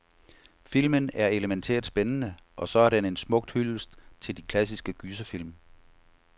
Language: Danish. Filmen er elemæntært spændende, og så er den en smuk hyldest til de klassiske gyserfilm.